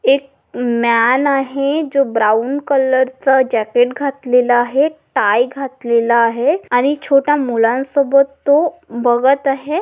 एक मॅन आहे. जो ब्राऊन कलरच जॅकेट घातलेलं आहे. टाय घातलेलं आहे आणि छोटा मुलांसोबत तो बघत आहे.